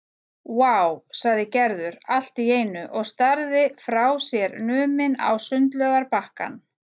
Vá sagði Gerður allt í einu og starði frá sér numin á sundlaugarbakkann.